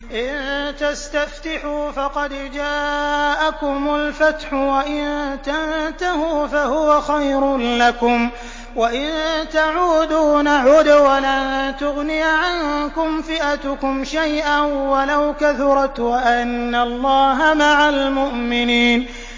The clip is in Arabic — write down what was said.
إِن تَسْتَفْتِحُوا فَقَدْ جَاءَكُمُ الْفَتْحُ ۖ وَإِن تَنتَهُوا فَهُوَ خَيْرٌ لَّكُمْ ۖ وَإِن تَعُودُوا نَعُدْ وَلَن تُغْنِيَ عَنكُمْ فِئَتُكُمْ شَيْئًا وَلَوْ كَثُرَتْ وَأَنَّ اللَّهَ مَعَ الْمُؤْمِنِينَ